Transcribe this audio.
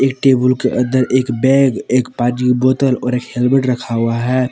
इ टेबुल के अंदर एक बैग एक पानी बोतल और एक हेल्मेट रखा हुआ है।